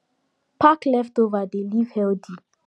pack leftover dey live healthy